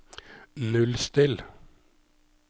nullstill